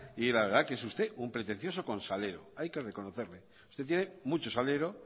y la verdad es que es usted un pretencioso con salero hay que reconocerle usted tiene mucho salero